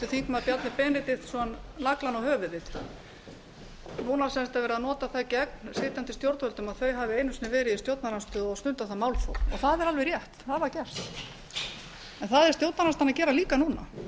þingmaður bjarni benediktsson naglann á höfuðið núna er sem sagt verið að nota það gegn sitjandi stjórnvöldum að þau hafi einu sinni verið í stjórnarandstöðu og stundað þar málþóf það er alveg rétt það var gert en það er stjórnarandstaðan að gera líka núna